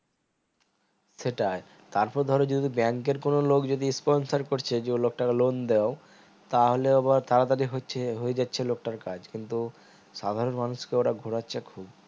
সেটাই তার পর ধরো যদি bank এর কোনো লোক যদি sponsor করছে যে ওই লোক টাকে loan দাও তাহলে আবার তাড়াতাড়ি হচ্ছে ওই দেখছে লোকটার কাজ কিন্তু সাধারণ মানুষ কে ওরা ঘুরাচ্ছে খুব